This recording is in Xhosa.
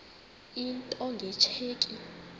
into nge tsheki